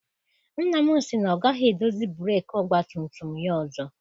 Nna m sị na ọ gaghị edozi breeki ọgbatumtum ya ọzọ.